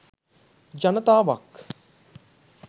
ජනතාවක්